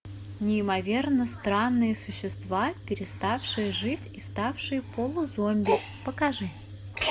неимоверно странные существа переставшие жить и ставшие полузомби покажи